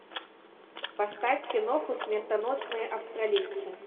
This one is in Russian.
поставь киноху смертоносные австралийцы